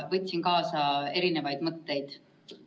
Võtsin siit kaasa erinevaid mõtteid.